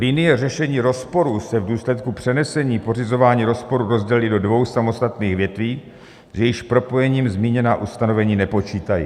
Linie řešení rozporu se v důsledku přenesení pořizování rozporu rozdělí do dvou samostatných větví, s jejichž propojením zmíněná ustanovení nepočítají.